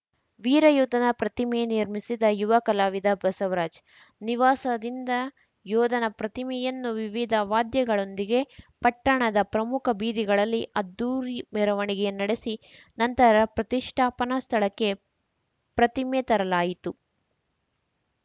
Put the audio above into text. ವೀರ ಯೋಧನ ಪ್ರತಿಮೆ ನಿರ್ಮಿಸಿದ ಯುವ ಕಲಾವಿದ ಬಸವರಾಜ್‌ ನಿವಾಸದಿಂದ ಯೋಧನ ಪ್ರತಿಮೆಯನ್ನು ವಿವಿಧ ವಾದ್ಯಗಳೊಂದಿಗೆ ಪಟ್ಟಣದ ಪ್ರಮುಖ ಬೀದಿಗಳಲ್ಲಿ ಅದ್ದೂರಿ ಮೆರವಣಿಗೆ ನಡೆಸಿ ನಂತರ ಪ್ರತಿಷ್ಟಾಪನಾ ಸ್ಥಳಕ್ಕೆ ಪ್ರತಿಮೆ ತರಲಾಯಿತು